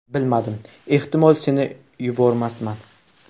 Bilmadim, ehtimol, seni yubormasman”.